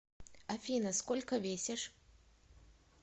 афина сколько весишь